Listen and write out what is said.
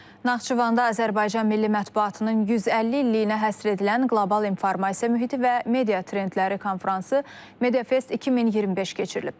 Naxçıvanda Azərbaycan Milli Mətbuatının 150 illiyinə həsr edilən Qlobal İnformasiya mühiti və media trendləri konfransı MediaFest 2025 keçirilib.